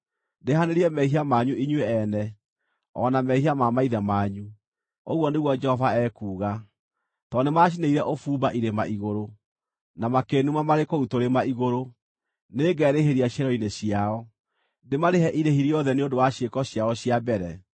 ndĩhanĩrie mehia manyu inyuĩ ene, o na mehia ma maithe manyu,” ũguo nĩguo Jehova ekuuga. “Tondũ nĩmacinĩire ũbumba irĩma-igũrũ, na makĩĩnuma marĩ kũu tũrĩma-igũrũ, nĩngerĩhĩria ciero-inĩ ciao, ndĩmarĩhe irĩhi rĩothe nĩ ũndũ wa ciĩko ciao cia mbere.”